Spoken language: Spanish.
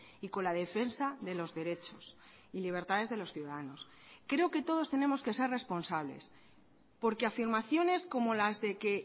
y con la defensa de los derechos y libertades de los ciudadanos creo que todos tenemos que ser responsables porque afirmaciones como las de que